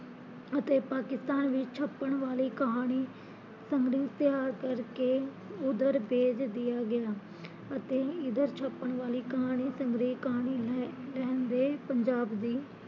ਅਤੇ ਪਾਕਿਸਤਾਨ ਵਿੱਚ ਛਪਣ ਵਾਲੀ ਕਹਾਣੀ ਸੰਗਣੀ ਤਿਆਰ ਕਰਕੇ ਉਦਰ ਭੇਜ ਦੀਆ ਗੀਆ ਅਤੇ ਇਦਰ ਛਪਣ ਵਾਲੀ ਕਹਾਣੀ ਲਹਿੰਦੇ ਪੰਜਾਬ